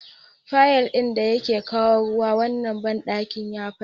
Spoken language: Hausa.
Fayif ɗin da yake kawo ruwa wannan banɗakin ya fashe.